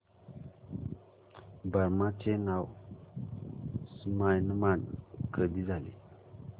Burma चे नाव Myanmar कधी झाले